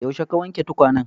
Yaushe ka wanke tukwanen?